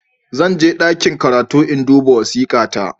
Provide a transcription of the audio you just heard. Zan je ɗakin karatu in rubuta wasika ta